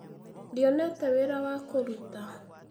Ndĩonete wĩra wa kũrũta